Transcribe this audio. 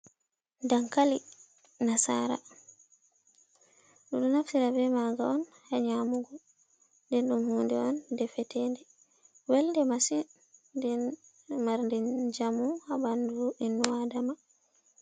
Dankali Nasara: Ɗiɗo naftira be maa'nga on ha nyamugo. Nden ɗum hunde on defetende welde masin. Nden marɗe njamu ha ɓandu innu Adama.